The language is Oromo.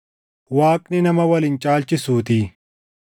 Waaqni nama wal hin caalchisuutii.